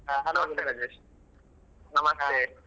ಹ ರಾಜೇಶ್ ನಮಸ್ತೆ.